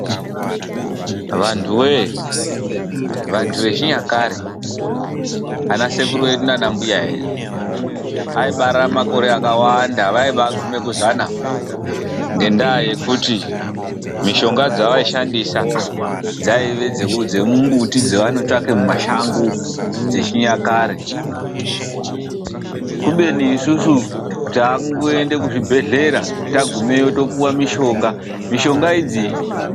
Vantu wee! vantu vechinyakare ana sekuru edu nana mbuya edu aibara makore akawanda . Vaibaguma kuzana ngendaa yekuti mishonga dzavaishandisa dzaive dzemumbuti dzavaitsvaka mumashango dzechinyakare. Kubeni isusu takungoende kuzvibhehlera tagumeyo topiwa mishonga . Mishonga idzi ....